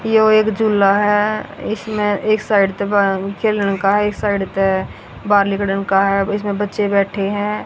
ये वो एक झूला है इसमें एक साइड इसमें बच्चे बैठे हैं।